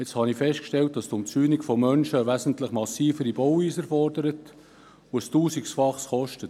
Nun habe ich festgestellt, dass die Einzäunung von Menschen eine wesentlich massivere Bauweise erfordert und ein Tausendfaches kostet.